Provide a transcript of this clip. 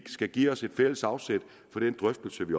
skal give os et fælles afsæt for den drøftelse vi